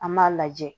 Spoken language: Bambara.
An m'a lajɛ